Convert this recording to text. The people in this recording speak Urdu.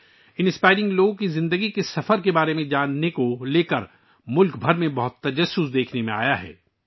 ان متاثر کن لوگوں کی زندگی کے سفر کے بارے میں جاننے کے لیے ملک بھر میں بہت تجسس دیکھا گیا ہے